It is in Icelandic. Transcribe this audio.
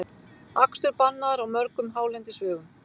Akstur bannaður á mörgum hálendisvegum